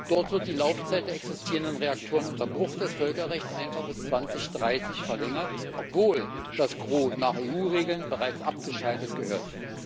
Dort wird die Laufzeit der existierenden Reaktoren unter Bruch des Völkerrechts einfach bis 2030 verlängert, obwohl das Gros nach EU Regeln bereits abgeschaltet gehört.